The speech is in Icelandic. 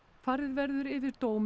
farið verður yfir dóminn